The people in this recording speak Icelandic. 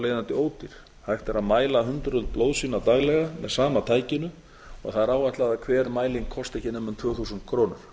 leiðandi ódýr hægt er að mæla hundruð blóðsýna daglega með sama tækinu það er áætlað að hver mæling kosti ekki nema um tvö þúsund krónur